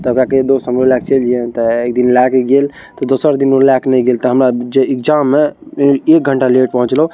दादा के दो सो एक दिन लाके गएल दोसरा दिन उ ला के नई गएल तो हमरा जो एग्जाम में एक घंटा लेट पहुँचलो।